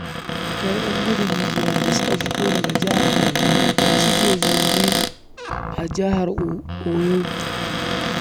Akwai 'yan gudun hijira da suka fito daga Jihar Borno da suke zaune a Jihar Oyo